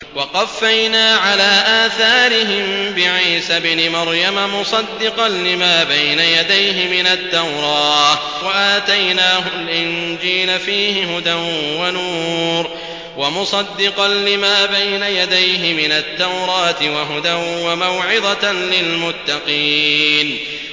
وَقَفَّيْنَا عَلَىٰ آثَارِهِم بِعِيسَى ابْنِ مَرْيَمَ مُصَدِّقًا لِّمَا بَيْنَ يَدَيْهِ مِنَ التَّوْرَاةِ ۖ وَآتَيْنَاهُ الْإِنجِيلَ فِيهِ هُدًى وَنُورٌ وَمُصَدِّقًا لِّمَا بَيْنَ يَدَيْهِ مِنَ التَّوْرَاةِ وَهُدًى وَمَوْعِظَةً لِّلْمُتَّقِينَ